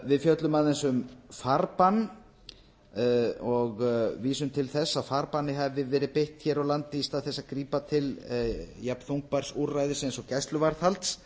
við fjöllum aðeins um farbann ég vísum til þess að farbanni hafi verið beitt hér á landi í stað þess að grípa til jafnþungbærs úrræðis og gæsluvarðhalds